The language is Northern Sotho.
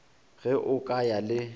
ge o ka ya le